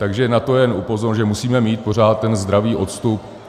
Takže na to jen upozorňuji, že musíme mít pořád ten zdravý odstup.